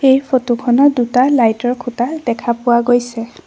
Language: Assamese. এই ফটো খনত দুটা লাইট ৰ খুঁটা দেখা পোৱা গৈছে।